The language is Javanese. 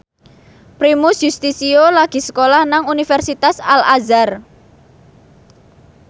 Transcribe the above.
Primus Yustisio lagi sekolah nang Universitas Al Azhar